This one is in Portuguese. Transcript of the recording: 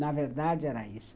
Na verdade, era isso.